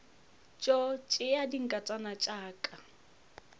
tšo tšea dinkatana tša ka